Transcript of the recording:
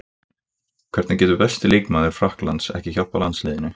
Hvernig getur besti leikmaður Frakklands ekki hjálpað landsliðinu?